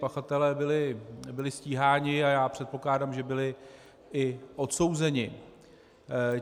Pachatelé byli stíháni a já předpokládám, že byli i odsouzeni.